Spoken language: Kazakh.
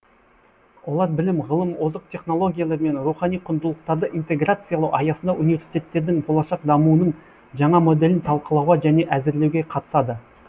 олар білім ғылым озық технологиялар мен рухани құндылықтарды интеграциялау аясында университеттердің болашақ дамуының жаңа моделін талқылауға және әзірлеуге қатысады